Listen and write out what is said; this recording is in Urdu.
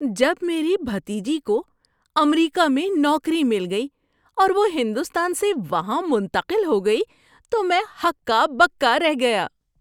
جب میری بھتیجی کو امریکہ میں نوکری مل گئی اور وہ ہندوستان سے وہاں منتقل ہو گئی تو میں ہکا بکا رہ گیا۔